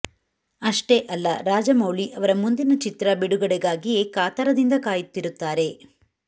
ಅಷ್ಟೇ ಅಲ್ಲ ರಾಜಮೌಳಿ ಅವರ ಮುಂದಿನ ಚಿತ್ರ ಬಿಡುಗಡೆಗಾಗಿಯೇ ಕಾತರದಿಂದ ಕಾಯುತ್ತಿರುತ್ತಾರೆ